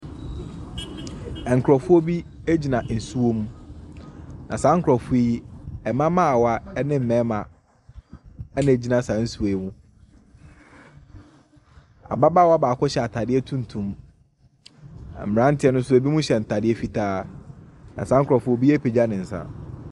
Nkurɔfoɔ bi gyina nsuo mu. Na saa nkurɔfoɔ yi mmabaawa ne mmarima na wɔgyina saa nsuo yi mu. Ababaawa baako hyɛ ataade tuntum. Mmranteɛ no nso ebinom hyɛ ataade fitaa. Na saa nkurɔfo yi obiara apagya ne nsa.